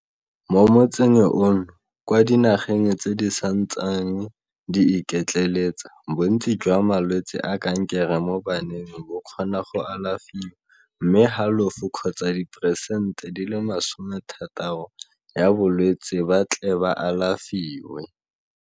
Mo motsing ono, kwa dinageng tse di santseng di iketleletsa, bontsi jwa malwetse a kankere mo baneng bo kgona go alafiwa, mme halofo kgotsa 60 percernt ya balwetse ba tle ba alafiwe.